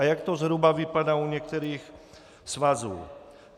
A jak to zhruba vypadá u některých svazů?